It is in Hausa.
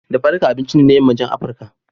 Dafa dukka abinci ne na Yammacin Afirka.